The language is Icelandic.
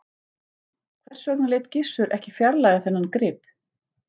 Hvers vegna lét Gizur ekki fjarlægja þennan grip?